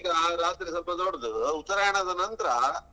ಈಗ ರಾತ್ರಿ ಸ್ವಲ್ಪ ದೊಡ್ಡದು, ಉತ್ತರಾಯಣದ ನಂತ್ರ.